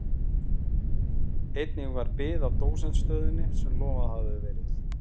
Einnig varð bið á dósentsstöðunni sem lofað hafði verið.